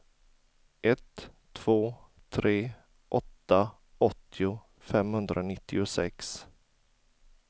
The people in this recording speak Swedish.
ett två tre åtta åttio femhundranittiosex